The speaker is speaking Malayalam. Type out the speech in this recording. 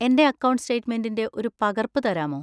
എന്‍റെ അക്കൗണ്ട് സ്റ്റേറ്റ്‌മെന്‍റിന്‍റെ ഒരു പകർപ്പ് തരാമോ?